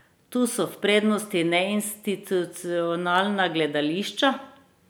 Tu so v prednosti neinstitucionalna gledališča.